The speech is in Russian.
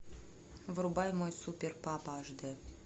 врубай мой супер папа аш дэ